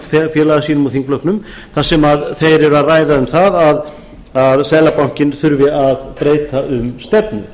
félaga sínum úr þingflokknum þar sem þeir eru að ræða um það að seðlabankinn þurfi að breyta um stefnu